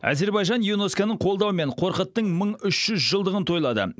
әзербайжан юнеско ның қолдауымен қорқыттың мың үш жүз жылдығын тойлады